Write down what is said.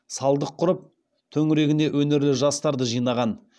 салдық құрып төңірегіне өнерлі жастарды жинаған